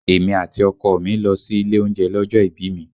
Èmi àti ọkọ ọ̀ mi lọ sí ilé oúnjẹ lọ́jọ́ ìbí mi